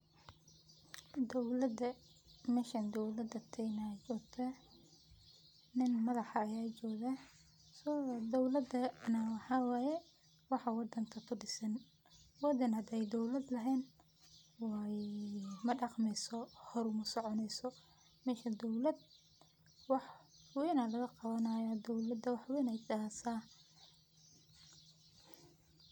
Dowlada, meshan dawlada kenya aa jogtah. Nin madax ayaa jogaah. Dowlada na waxaa waye waxaa wadanka kudisan. Wadan hadi ay dowlad lehen madaqmeyso, hor mausoconeyso, marka dowlad wax weyn aa lagaqawanayaa dowlada wax weyn ay heysaah.